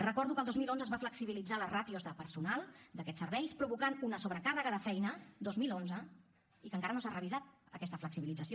recordo que el dos mil onze es van flexibilitzar les ràtios de personal d’aquests serveis i va provocar una sobrecàrrega de feina dos mil onze i que encara no s’ha revisat aquesta flexibilització